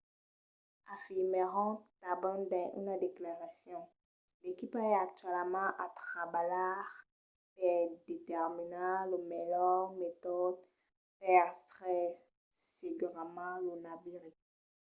afirmèron tanben dins una declaracion l’equipa es actualament a trabalhar per determinar lo melhor metòde per extraire segurament lo naviri